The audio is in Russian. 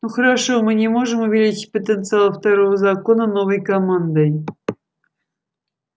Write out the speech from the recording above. ну хорошо мы не можем увеличить потенциал второго закона новой командой